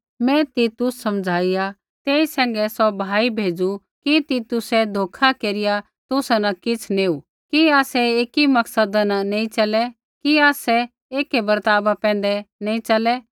मैं तीतुस समझाईया तेई सैंघै सौ भाई भेजु कि तितुसै धोखा केरिया तुसा न किछ़ नेऊ कि आसै ऐकी मकसदा न नैंई च़लै कि आसै ऐकै बर्ताव पैंधै नैंई च़लै